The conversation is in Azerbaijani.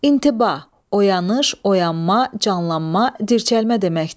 İntibah, oyanış, oyanma, canlanma, dirçəlmə deməkdir.